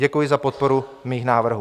Děkuji za podporu mých návrhů.